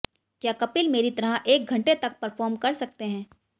क्या कपिल मेरी तरह एक घंटे तक परफॉर्म कर सकते हैं